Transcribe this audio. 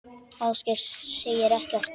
Ásgeir segir ekkert.